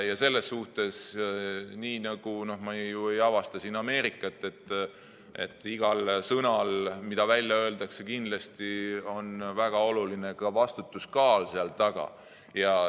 Ma ei avasta siin ju Ameerikat: igal sõnal, mida välja öeldakse, on kindlasti väga oluline vastutuskaal taga.